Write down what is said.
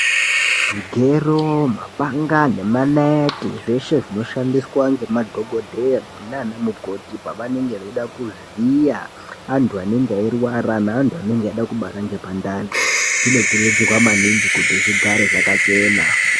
Zvigero, mapanga nemanaiti , zveshe zvinoshandiswaa nemadhokodheyaa naanamukoti pavanenge vaida kuvhiyaa antu anenge airwara neantu anenge aida kubara ngepandani zvinokurudzirwaa maningi kuti zvigare zvakachenaa.